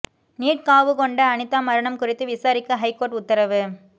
NEET காவு கொண்ட அனிதா மரணம் குறித்து விசாரிக்க ஹைகோர்ட் உத்தரவு